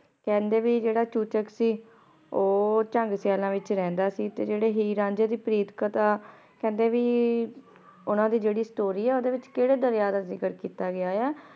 ਕੇਹ੍ਨ੍ਡੇ ਭਾਈ ਜੇਰਾ ਚੂਚਕ ਸੀ ਊ ਝਾੰਗ ਸਿਯਾਲਾਂ ਵਿਚ ਰਹੰਦਾ ਸੀ ਤੇ ਜੇਰੀ ਹੀਰ ਰਾਂਝੇ ਦੀ ਪ੍ਰੀਤ ਕਥਾ ਕੇਹ੍ਨ੍ਡੇ ਭੀ ਓਨਾਂ ਦੀ ਜੇਰੀ story ਸਟੋਰੀ ਆ ਓਦੇ ਵਿਚ ਕੇਰੇ ਦਰਯਾ ਦਾ ਜ਼ਿਕਰ ਕੀਤਾ ਗਯਾ ਆਯ ਆ